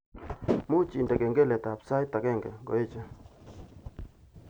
Muuch indene kengeletab sait agenge ngoeche